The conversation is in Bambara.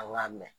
An k'a mɛn